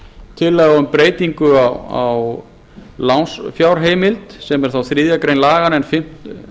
tillaga um breytingu á lánsfjárheimild sem er þá þriðju grein fjáraukalaganna en fimmtu